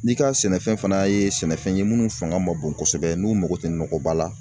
N'i ka sɛnɛfɛn fana ye sɛnɛfɛn ye minnu fanga ma bon kosɛbɛ n'u mako tɛ nɔgɔba la